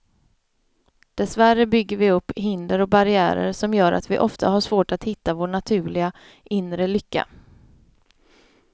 Dessvärre bygger vi upp hinder och barriärer som gör att vi ofta har svårt att hitta vår naturliga, inre lycka.